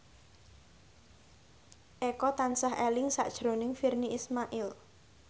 Eko tansah eling sakjroning Virnie Ismail